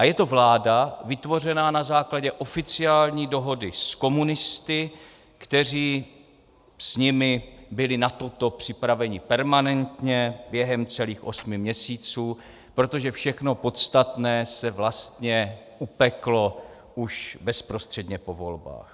A je to vláda vytvořená na základě oficiální dohody s komunisty, kteří s nimi byli na toto připraveni permanentně během celých osmi měsíců, protože všechno podstatné se vlastně upeklo už bezprostředně po volbách.